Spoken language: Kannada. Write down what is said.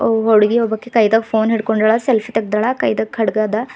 ಹುಡುಗಿ ಒಬ್ಬಾಕಿ ಕೈದ್ದಾಗ ಫೋನ್ ಹಿಡ್ಕೊಂಡಾಳ ಸೆಲ್ಫಿ ತಗ್ದಾಳ ಕೈಯಾಗ ಖಡ್ಗಾದ.